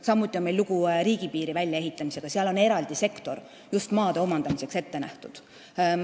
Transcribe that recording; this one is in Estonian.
Samuti on lugu riigipiiri väljaehitamisega, seal on eraldi sektor just maa omandamiseks ette nähtud.